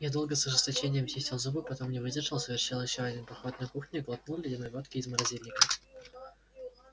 я долго с ожесточением чистил зубы потом не выдержал совершил ещё один поход на кухню и глотнул ледяной водки из морозильника